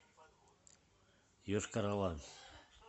йошкар ола